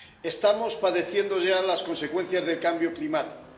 Estamos padeciendo ya las consecuencias del cambio climático.